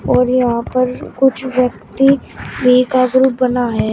और यहां पर कुछ व्यक्ति भी का ग्रुप बना है।